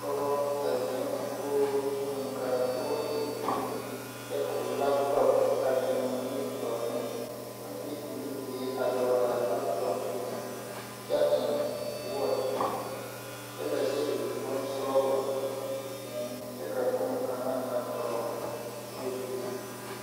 Pɔgɔ a zeng kogi eng ka a kogi e green kye ka ɔ laptɔp a beng ɔ ningmetouri ɔng de ɔ nibeɛ a dɔgle a laptɔp zung kye eng watch kye le su bunsɔglɔ meng kye ka bonkanga a dɔgle table zung.